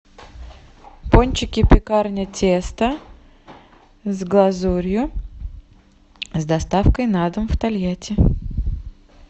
пончики пекарня тесто с глазурью с доставкой на дом в тольятти